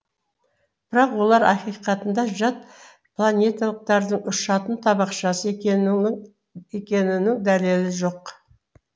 бірақ олар ақиқатында жат планеталықтардың ұшатын табақшасы екенінің дәлелі жоқ